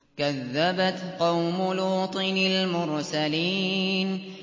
كَذَّبَتْ قَوْمُ لُوطٍ الْمُرْسَلِينَ